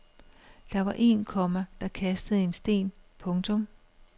Der var en, komma der kastede en sten. punktum